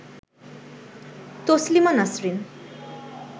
Taslima Nasrin